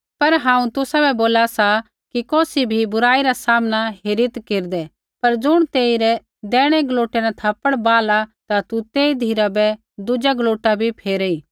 पर हांऊँ तुसाबै बोला सा कि कौसी भी बुराई रा सामना हेरीत् केरदै पर ज़ुण तेरै दैहिणै गलोटै न थप्पड़ बाहला ता तू तेई धिराबै दुजा गलोटा भी फेरेई